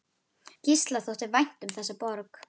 Gísla þótti vænt um þessa borg.